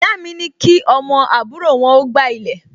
Ìyá mi ní kí ọmọ àbúrò wọn ó gbá ilẹ̀